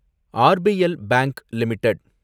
RBL bank limited